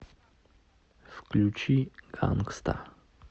включи гангста